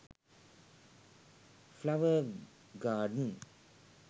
flower garden